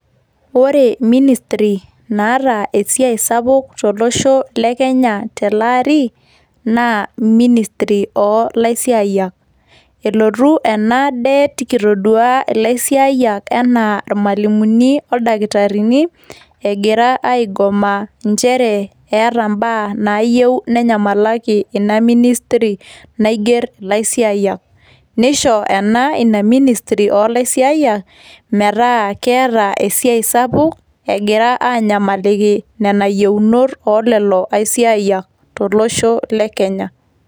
Ore ministri naata esiai sapuk tolosho le Kenya teleari, naa ministri oolaisiayiak. Elotu ena det kitodua ilaisiayiak anaa ilmalimuni oldaktarini egira aigoma nchere eeta mbaa naayieu nenyamalaki ina ministri naigerr ilaisiayiak. Neisho ena ina ministri oolaisiayiak metaa keeta esiai sapuk egira aanyamaliki nena yieunot oolelo aisiayiak tolosho le Kenya.